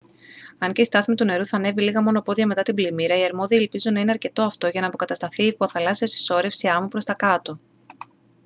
αν και η στάθμη του νερού θα ανέβει λίγα μόνο πόδια μετά την πλημμύρα οι αρμόδιοι ελπίζουν να είναι αρκετό αυτό για να αποκατασταθεί η υποθαλάσσια συσσώρευση άμμου προς τα κάτω